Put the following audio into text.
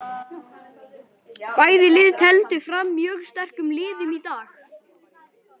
Bæði lið tefldu fram mjög sterkum liðum í dag.